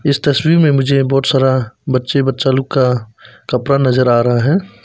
इस तस्वीर में मुझे बहोत सारा बच्चे बच्चा लोग का कपड़ा नजर आ रहा है।